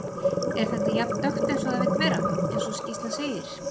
Er þetta jafn dökkt eins og það vill vera, eins og skýrslan segir?